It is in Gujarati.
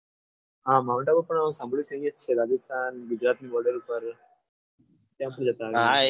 હા mount આબુ પણ સાંભળ્યું છે મેં રાજસ્થાન ગુજરાત border ઉપર ત્યાંથી જતા અમે હાએ